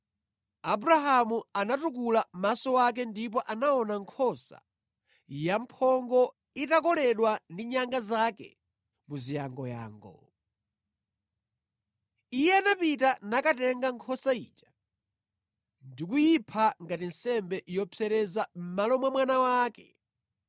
Abrahamu anatukula maso ake ndipo anaona nkhosa yamphongo itakoledwa ndi nyanga zake mu ziyangoyango. Iye anapita nakatenga nkhosa ija ndikuyipha ngati nsembe yopsereza mʼmalo mwa mwana wake.